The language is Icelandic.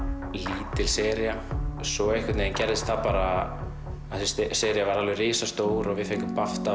lítil sería svo einhvern veginn gerðist það bara að þessi sería varð risastór og við fengum